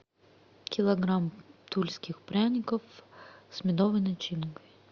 килограмм тульских пряников с медовой начинкой